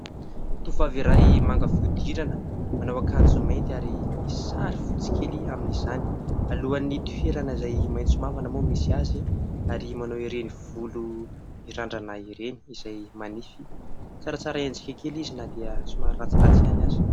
Tovovavy iray manga fihodirana, manao akanjo mainty ary misy sary fotsy kely amin'izany. Alohan'ny toerana izay maitso mavana moa misy azy ary manao ireny volo mirandrana ireny izay manify, tsaratsara endrika kely izy na dia somary ratsiratsy ihany aza.